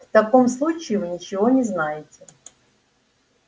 в таком случае вы ничего не знаете